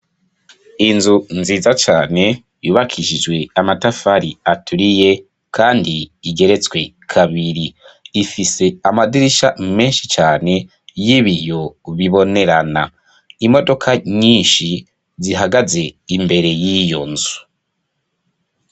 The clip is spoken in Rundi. Inzu nziza cane, yubakishijwe amatafari aturiye, kandi igeretswe kabiri; ifise amadirisha menshi cane, y'ibiyo bibonerana, imodoka nyinshi, zihagaze imbere y'iyo nzu.